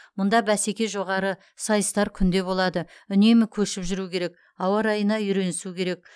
мұнда бәсеке жоғары сайыстар күнде болады үнемі көшіп жүру керек ауа райына үйренісу керек